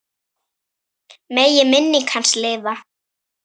Megi minning hans lifa.